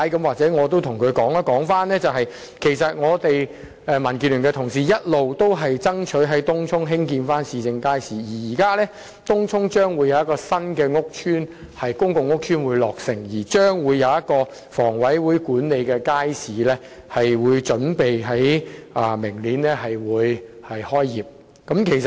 或許我可以告訴他，其實民建聯的同事一直爭取在東涌興建市政街市，而東涌未來將會有新的公共屋邨落成，一個由香港房屋委員會管理的街市預計於明年開業。